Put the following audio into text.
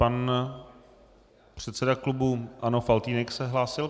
Pan předseda klubu ANO Faltýnek se hlásil.